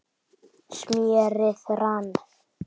smérið rann